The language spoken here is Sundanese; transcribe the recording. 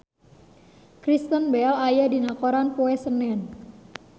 Kristen Bell aya dina koran poe Senen